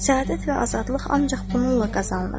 Səadət və azadlıq ancaq bununla qazanılır.